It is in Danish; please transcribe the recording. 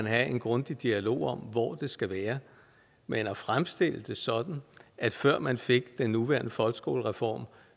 have en grundig dialog om hvor det skal være men at fremstille det sådan at før man fik den nuværende folkeskolereform